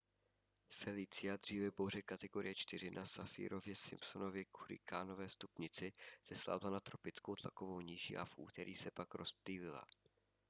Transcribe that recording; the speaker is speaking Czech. felicia dříve bouře kategorie 4 na saffirově-simpsonově hurikánové stupnici zeslábla na tropickou tlakovou níži a v úterý se pak rozptýlila